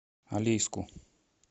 алейску